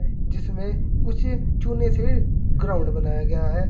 जिसमें कुछ चुने से ग्राउंड बनाया गया है।